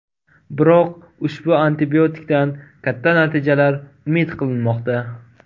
Biroq ushbu antibiotikdan katta natijalar umid qilinmoqda.